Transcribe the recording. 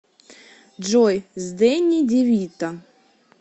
джой с дэнни девито